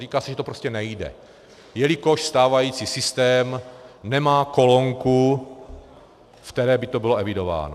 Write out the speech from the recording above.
Říká se, že to prostě nejde, jelikož stávající systém nemá kolonku, ve které by to bylo evidováno.